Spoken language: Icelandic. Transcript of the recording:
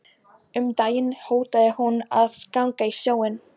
Um daginn hótaði hún að ganga í sjóinn.